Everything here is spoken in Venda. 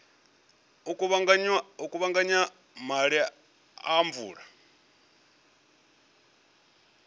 u kuvhanganya maḓi a mvula